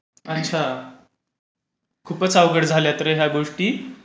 अच्छा. खूपच अवघड झाल्यात रे ह्या गोष्टी,